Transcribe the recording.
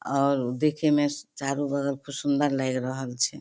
और देखे में चारो बगल खूब सुन्दर लइग रहल छै।